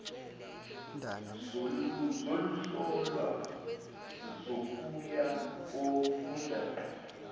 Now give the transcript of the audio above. zokuhlolwa zokuya kofunda